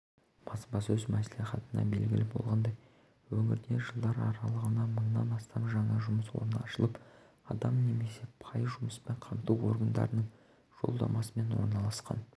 баспасөз мәслихатында белгілі болғандай өңірде жылдар аралығында мыңнан астам жаңа жұмыс орны ашылып адам немесе пайызы жұмыспен қамту органдарының жолдамасымен орналасқан